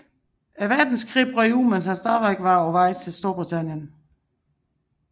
Verdenskrig brød ud mens han stadig var undervejs til Storbritannien